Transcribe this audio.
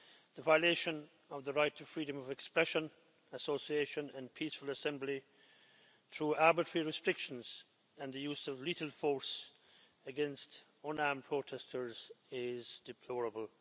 The violation of the right to freedom of expression, association, and peaceful assembly through arbitrary restrictions and the use of lethal force against unarmed protesters is deplorable.